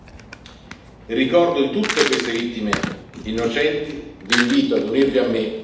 In memoria di tutte queste vittime innocenti, vi invito ad unirvi a